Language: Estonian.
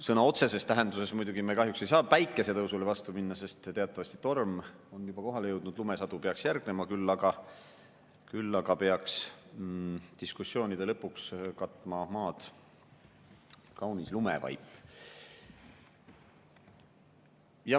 Sõna otseses tähenduses muidugi me kahjuks ei saa päikesetõusule vastu minna, sest teatavasti torm on juba kohale jõudnud, lumesadu peaks järgnema, küll aga peaks diskussioonide lõpuks katma maad kaunis lumevaip.